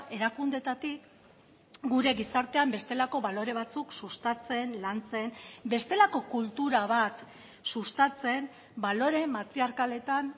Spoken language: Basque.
erakundeetatik gure gizartean bestelako balore batzuk sustatzen lantzen bestelako kultura bat sustatzen balore matriarkaletan